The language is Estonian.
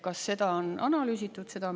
Kas seda on analüüsitud?